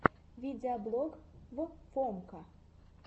видеоблог в фомка